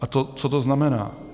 A co to znamená?